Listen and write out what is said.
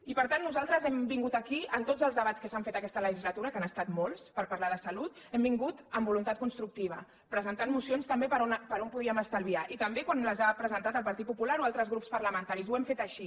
i per tant nosaltres hem vingut aquí en tots els debats que s’han fet aquesta legislatura que han estat molts per parlar de salut hem vingut amb voluntat constructiva presentant mocions també per on podíem estalviar i també quan les ha presentat el partit popular o altres grups parlamentaris ho hem fet així